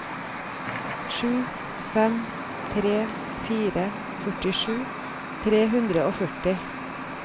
sju fem tre fire førtisju tre hundre og førti